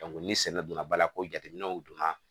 ni sɛnɛ donna ba la ko jateminɛw donna